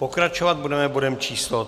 Pokračovat budeme bodem číslo